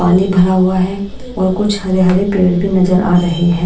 पानी भरा हुआ है और कुछ हरे-हरे पेड़ भी नजर आ रहे हैं।